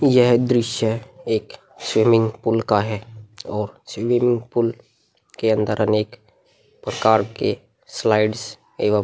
यह दृश्य एक स्विमिंग पूल का है और स्विमिंग पूल के अन्दर अनेक प्रकार के स्लाइड्स एवं --